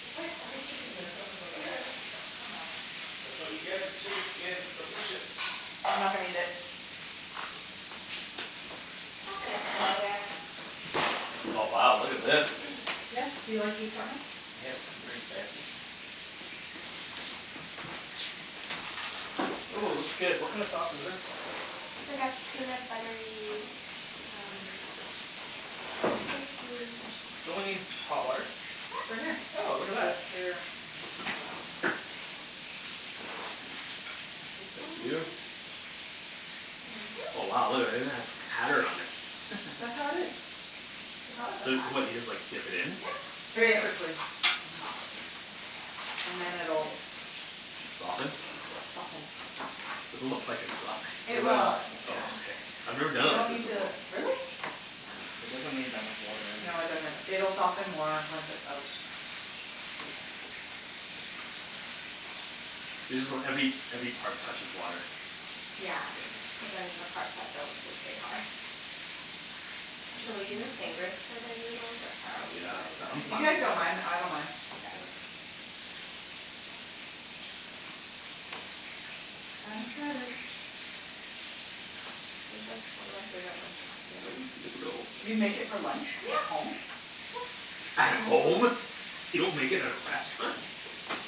It's like chicken there's so much oil. That's what you get for chicken skin, it's delicious! I'm not gonna eat it. It's not gonna kill ya. Oh wow, look at this. Yes, do you like the assortment? Yes, very fancy. Ooh looks good, what kinda sauce is this? It's like a peanut buttery um Nice. Spicy fish Don't we need sauce. hot water? It's right Yep. here. Oh, look at that. Thank you. Thank you. Oh wow, look at that, it even has pattern on it. That's how it is. It's always like So, what, you just that. like dip it in? Yeah. And Very it quickly. softens. And then it'll Soften? Yep. Soften. Doesn't look like it's softened. It It It will. will, will. it takes Oh okay. time. I've never done You it don't like this need before. to, Yeah. really? It doesn't need that much water No, it either. doesn't. It'll soften more once it's out. You just want every, every part touches water. Yeah. Cuz then the parts that don't, they stay hard. Should we use our fingers for the noodles or how are we Yeah. I I'm If you fine gonna guys with either. don't mind, I don't Mkay. mind. I'm excited. This is like one of my favorite lunches to make. You make it for lunch? At Yep home? Yep. At home? You don't make it at a restaurant?